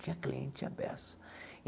Tinha cliente, tinha peça.